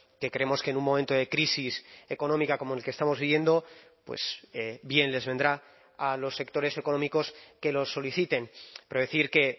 que creemos que en un momento de crisis económica como el que estamos viviendo pues bien les vendrá a los sectores económicos que lo soliciten pero decir que